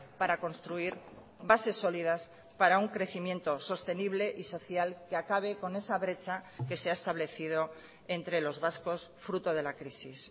para construir bases sólidas para un crecimiento sostenible y social que acabe con esa brecha que se ha establecido entre los vascos fruto de la crisis